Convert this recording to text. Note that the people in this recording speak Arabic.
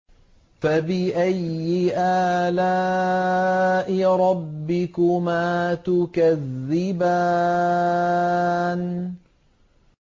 فَبِأَيِّ آلَاءِ رَبِّكُمَا تُكَذِّبَانِ